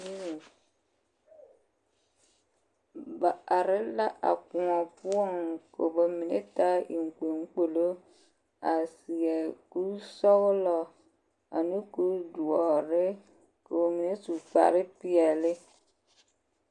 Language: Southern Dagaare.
Tontonzie la ka a tontombiiri a are ka ba mine su kparpeɛl ka ba mine meŋ su kparsɔɡelɔ kyɛ ka ba hɔɔle zupilidoɔ ka kaŋ hɔɔle zupilipelaa ka ba mine te mie a are kyɛ ka kaŋ a meŋ te bompelaa kaŋ ka poolo naŋ pente peɛ ane sɔɔlɔ a arekɔɡe ba a toma zie.